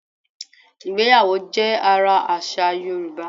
Ìgbéyàwó jẹ́ ara àṣà Yorùbá